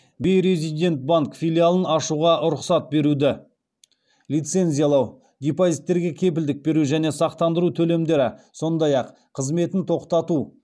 бейрезидент банк филиалын ашуға рұқсат беруді лицензиялау депозиттерге кепілдік беру және сақтандыру төлемдері сондай ақ қызметін тоқтату